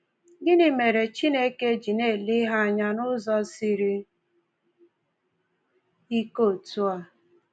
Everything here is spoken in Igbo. Gịnị mere Chineke ji na-ele ihe anya n’ụzọ siri ike otú a?